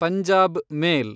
Punjab ಮೇಲ್